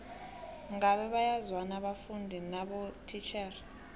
ngabe bayazwana abafundi nabotitjhere